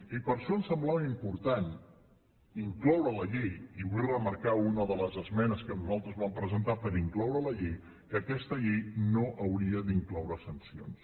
i per això em semblava important incloure a la llei i vull remarcar una de les esmenes que nosaltres vam presentar per incloure a la llei que aquesta llei no hauria d’incloure sancions